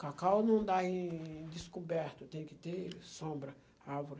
Cacau não dá em descoberto, tem que ter sombra, árvore.